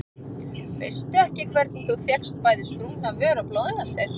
Veistu ekki hvernig þú fékkst bæði sprungna vör og blóðnasir.